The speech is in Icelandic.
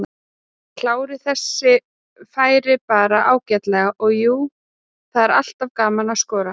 Kláraði þessi færi bara ágætlega og jú, það er alltaf gaman að skora.